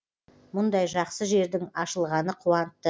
мұндай жақсы жердің ашылғаны қуантты